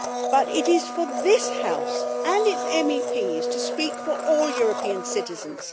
But it is for this House and its MEPs to speak for all European citizens.